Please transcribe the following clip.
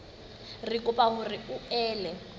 re kopa hore o ele